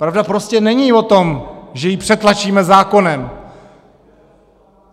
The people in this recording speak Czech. Pravda prostě není o tom, že ji přetlačíme zákonem.